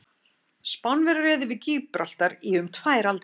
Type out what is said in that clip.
Spánverjar réðu yfir Gíbraltar í um tvær aldir.